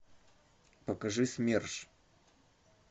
покажи смерш